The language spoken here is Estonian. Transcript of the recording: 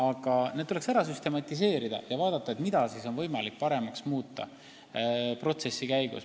Aga need tuleks ära süstematiseerida ja vaadata, mida on võimalik protsessi käigus paremaks muuta.